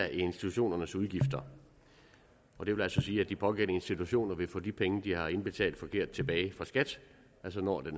af institutionernes udgifter og det vil altså sige at de pågældende institutioner vil få de penge de har indbetalt forkert tilbage fra skat altså når det